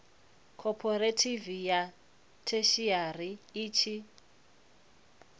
khophorethivi ya theshiari i tshi